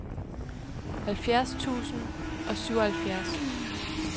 halvfjerds tusind og syvoghalvfjerds